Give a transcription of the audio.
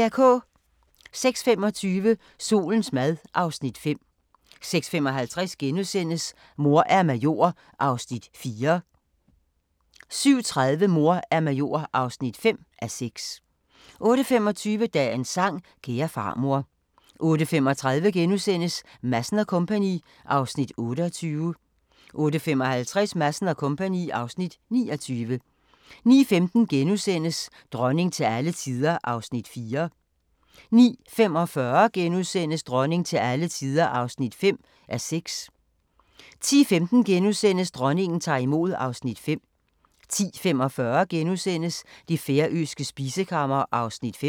06:25: Solens mad (Afs. 5) 06:55: Mor er major (4:6)* 07:30: Mor er major (5:6) 08:25: Dagens sang: Kære farmor 08:35: Madsen & Co. (Afs. 28)* 08:55: Madsen & Co. (Afs. 29) 09:15: Dronning til alle tider (4:6)* 09:45: Dronning til alle tider (5:6)* 10:15: Dronningen tager imod (Afs. 5)* 10:45: Det færøske spisekammer (Afs. 5)*